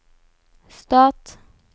stat